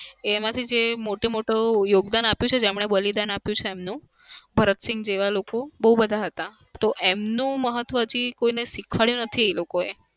એમાંથી જે મોટું-મોટું યોગદાન આપ્યું છે બલિદાન આપ્યું છે એમનું. ભરતસિંહ જેવા લોકો બઉ બધા હતા. તો એમનું મહત્વ હજી કોઈને શીખવાડ્યું નથી એ લોકોએ.